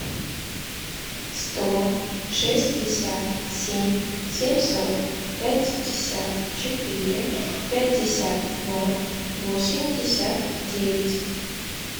сто шестьдесят семь семьсот пятьдесят четыре пятьдесят ноль восемьдесят девять